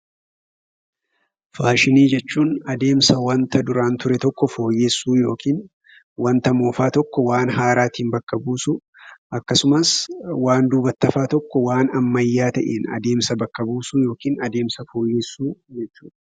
Faashinnii jechuun addemsaa wanta duraan ture tokko fooyyesuu yookiin wanta moofaa tokko waan haaraatin bakka buusu. Akkasumaas waan dubbatti hafa tokko waan ammayaa ta'ee addeemsaa bakka buusuu yookin addemsaa fooyesuu jechuudha.